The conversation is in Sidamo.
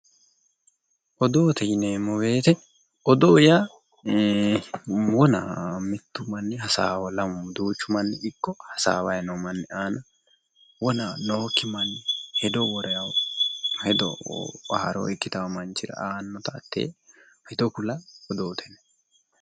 Odoote yineeemmo odoo yaa wona mittu manni hasaawa lamu duuchu manni ikko hasaawayi noo manni giddo wona nookki hedo woraa hedo haaro ikkitayo manchira aannota hattee hedo kula odoote yinanni.